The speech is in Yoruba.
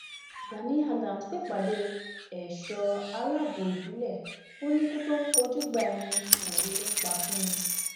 gani adams pèpàdé ẹṣọ aláàbọ ìbílẹ ò níkù tó ń pọjùgbà ẹni òwe ló ń pa fún ni